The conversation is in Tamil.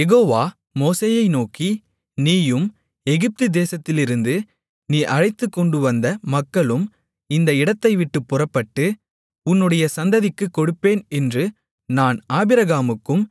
யெகோவா மோசேயை நோக்கி நீயும் எகிப்து தேசத்திலிருந்து நீ அழைத்துக்கொண்டு வந்த மக்களும் இந்த இடத்தைவிட்டுப் புறப்பட்டு உன்னுடைய சந்ததிக்குக் கொடுப்பேன் என்று நான் ஆபிரகாமுக்கும்